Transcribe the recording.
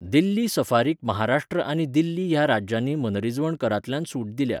दिल्ली सफारीक महाराष्ट्र आनी दिल्ली ह्या राज्यांनी मनरिजवण करांतल्यान सुट दिल्या.